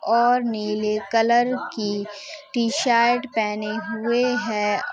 और नीले कलर की टीशर्ट पहने हुए है।